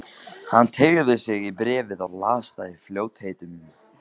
Hann teygði sig í bréfið og las það í fljótheitum.